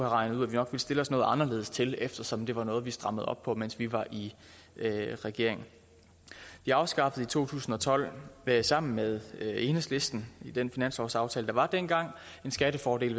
regnet ud vi nok ville stille os noget anderledes til eftersom det var noget vi strammede op på mens vi var i regering vi afskaffede i to tusind og tolv sammen med enhedslisten i den finanslovsaftale der var dengang en skattefordel